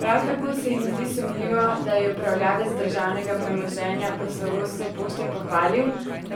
Prav tako se jim zdi sumljivo, da je upravljavec državnega premoženja poslovodstvo Pošte pohvalil,